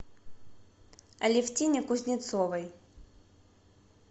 алевтине кузнецовой